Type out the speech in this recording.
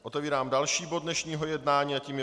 Otevírám další bod dnešního jednání a tím je